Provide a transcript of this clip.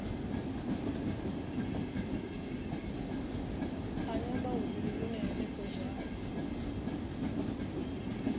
a nyambahuvhili hune henefho zwa